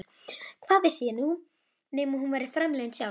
Hvað vissi ég nema hún væri framliðin sjálf?